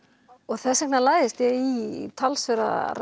þess vegna lagðist ég í talsverðar